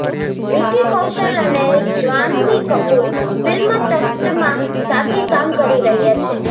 વિકી કૌશલ અને જ્હાનવી કપૂર ફિલ્મ તખ્ત માં સાથે કામ કરી રહ્યા છે